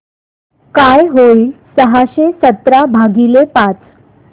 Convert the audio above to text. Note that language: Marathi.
काय होईल सहाशे सतरा भागीले पाच